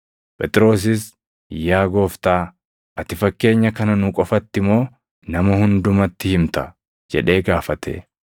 Phexrosis, “Yaa Gooftaa, ati fakkeenya kana nu qofatti moo nama hundumatti himta?” jedhee gaafate.